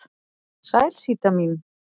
Sæl Síta mín.